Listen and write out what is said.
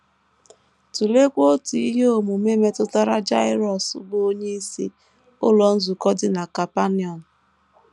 Tụleekwa otu ihe omume metụtara Jaịrọs, bụ́ onyeisi ụlọ nzukọ dị na Kapanọm.